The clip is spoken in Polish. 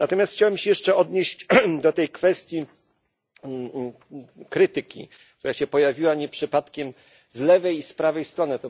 Natomiast chciałem się jeszcze odnieść do tej kwestii krytyki, która pojawiła się nie przypadkiem z lewej i z prawej strony.